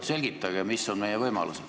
Selgitage, mis on meie võimalused.